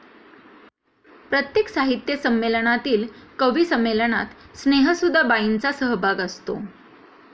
प्रत्येक साहित्य संमेलनातील कविसंमेलनात स्नेहसुधा बाईंचा सहभाग असतो